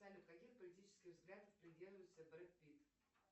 салют каких политических взглядов придерживается брэд питт